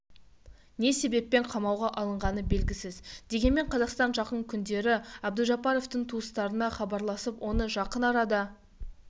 не себеппен қамауға алынғаны белгісіз дегенмен қазақстан жақын күндері әбдужаппаровтың туыстарына хабарласып оны жақын арада